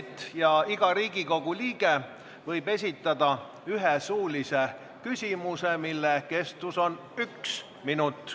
Pärast seda võib iga Riigikogu liige esitada ühe suulise küsimuse, mille kestus on üks minut.